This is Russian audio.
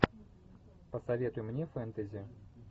посоветуй мне фентези